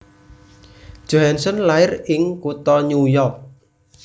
Johansson lair ing kutha New York